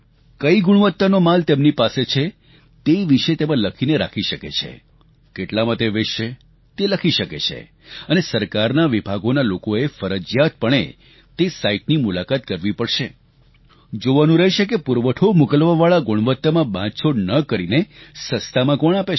કઈ ગુણવત્તાનો માલ તેમની પાસે છે તે વિશે તેમાં લખીને રાખી શકે છે કેટલામાં તે વેચશે તે લખી શકે છે અને સરકારના વિભાગોના લોકોએ ફરજીયાત પણે તે સાઇટની મુલાકાત કરવી પડશે જોવાનું રહેશે કે પુરવઠો મોકલવાવાળા ગુણવત્તામાં બાંધછોડ ન કરીને સસ્તામાં કોણ આપે છે